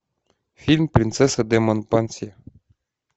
фильм принцесса де монпансье